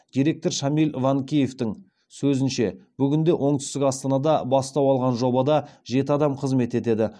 директор шамиль ванкеевтің сөзінше бүгінде оңтүстік астанада бастау алған жобада жеті адам қызмет етеді